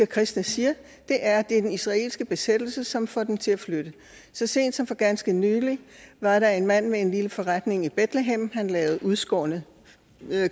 kristne siger er at det er den israelske besættelse som får dem til at flytte så sent som for ganske nylig var der en mand med en lille forretning i betlehem lavede udskårne